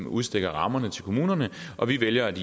udstikker rammerne til kommunerne og vi vælger at